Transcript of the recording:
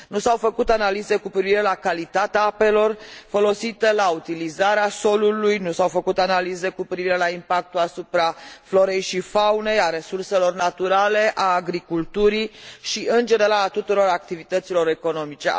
Nu s au făcut analize cu privire la calitatea apelor folosite, la utilizarea solului, nu s au făcut analize cu privire la impactul asupra florei și faunei, a resurselor naturale, a agriculturii și, în general, a tuturor activităților economice.